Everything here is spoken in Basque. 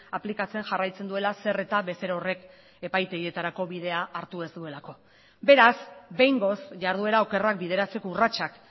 aplikatzen jarraitzen duela zer eta bezero horrek epaitegietarako bidea hartu ez duelako beraz behingoz jarduera okerrak bideratzeko urratsak